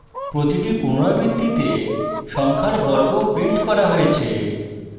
প্রতিটি পুনরাবৃত্তিতে সংখ্যার বর্গ printed করা হয়েছে